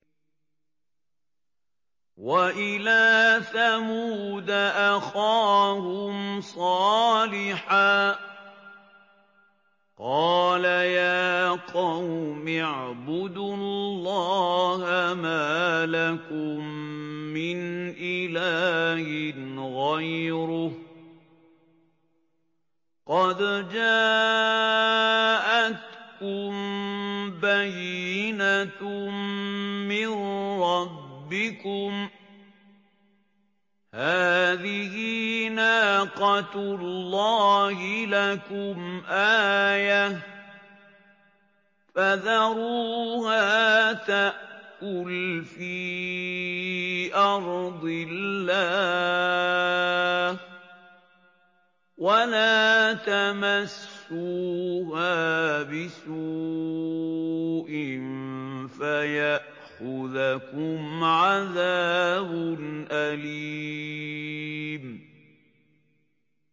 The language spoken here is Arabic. وَإِلَىٰ ثَمُودَ أَخَاهُمْ صَالِحًا ۗ قَالَ يَا قَوْمِ اعْبُدُوا اللَّهَ مَا لَكُم مِّنْ إِلَٰهٍ غَيْرُهُ ۖ قَدْ جَاءَتْكُم بَيِّنَةٌ مِّن رَّبِّكُمْ ۖ هَٰذِهِ نَاقَةُ اللَّهِ لَكُمْ آيَةً ۖ فَذَرُوهَا تَأْكُلْ فِي أَرْضِ اللَّهِ ۖ وَلَا تَمَسُّوهَا بِسُوءٍ فَيَأْخُذَكُمْ عَذَابٌ أَلِيمٌ